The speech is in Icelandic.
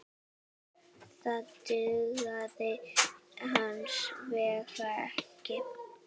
Það dugði hins vegar ekki.